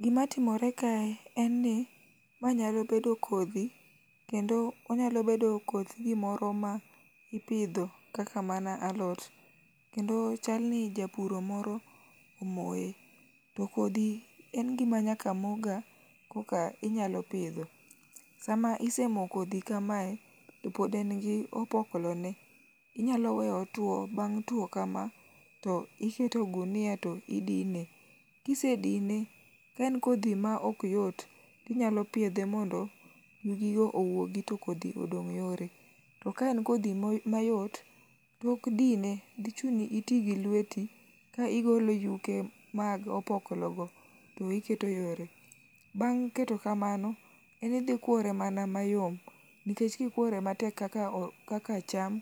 Gima timore kae en ni ma nyalo bedo kodhi kendo onyalo bedo koth gimoro ma ipidho kata mana alot, kendo chalni japuro moro omoye. To kodhi en gima nyaka moga eka inyalo pidho. Sama isemoyo kodhi kamaye to pod en gi opoklo ne inyalo weyo otwo, bang' two kama to iketo e gunia to idine. Ka isedino ka en kodhi maok yot to inyalo piedhe mondo yugigo owuogi to kodhi odong' yore. To ka en kodhi ma yot, tok dine dhi chuni mondo iti gi lweti ka igolo yuke mag opoklogo to iketo yore. Bang' keto kamano to ikuore mana mayom nikech ka ikuore matek mana kaka cham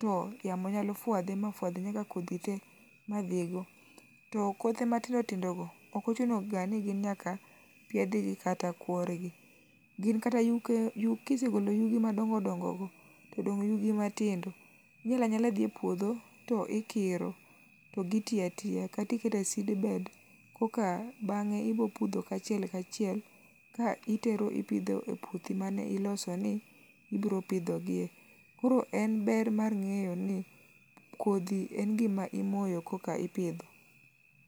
to yamo nyalo fuadhe ma fuadh nyaka kodhi te madhi go. Tokothe matindo tindo go okochuno ga ni gin nyaka piedhgi kata kuorgi. Gi kata kisegolo yugi madongo dongo go to odong' yugi matindo, inyalo anyala dhi e puodho to ikiro to giti atiya kata iketo e seedbed koka bang'e ibiro pudho kachiel achiel ea itero e puothi ma ibiro pidho giye. Koro en ber mar ng'eyo ni kodhi en gima imoyo koka ipidho.